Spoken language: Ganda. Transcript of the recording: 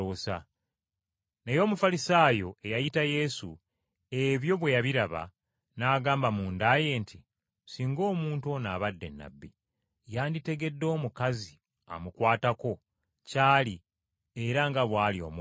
Naye Omufalisaayo eyayita Yesu, ebyo bwe yabiraba, n’agamba munda ye nti, “Singa omuntu ono abadde nnabbi, yanditegedde omukazi amukwatako kyali era nga bw’ali omwonoonyi!”